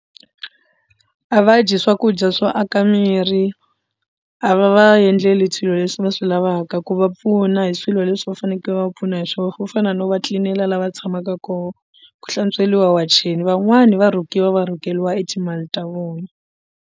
A va dyi swakudya swo aka miri a va va yendleli swilo leswi va swi lavaka ku va pfuna hi swilo leswi va fanekele va pfuna hi swo swo fana no va tlilinela lava tshamaka kona ku hlantsweliwa wacheni van'wani va rhukiwa va rhuketeriwa timali ta vona.